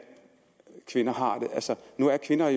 kvinder har at nu er kvinder